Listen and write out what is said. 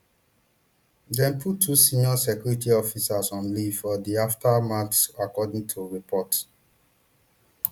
dem put two senior security officials on leave for di aftermath according to reports